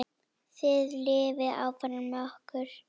Þið lifið áfram með okkur.